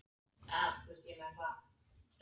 Ég hef oft sagt þér það.